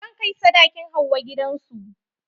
Zan kai sadakin Hauwa gidan su.